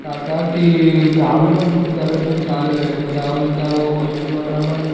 काका की गावी पण खूप करेक्शन चालू आहे. हाय त्या गोष्टीवरन पण